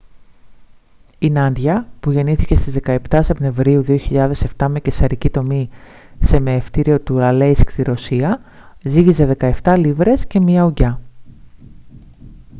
η νάντια που γεννήθηκε στις 17 σεπτεμβρίου 2007 με καισαρική τομή σε μαιευτήριο του αλέισκ στη ρωσία ζύγιζε 17 λίβρες και 1 ουγγιά